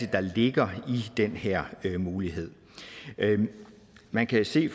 der ligger i den her mulighed man kan se